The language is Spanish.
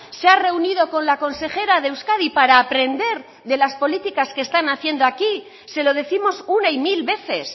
se ha reunido con la consejera de euskadi para aprender de las políticas que están haciendo aquí se lo décimos una y mil veces